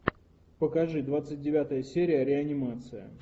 покажи двадцать девятая серия реанимация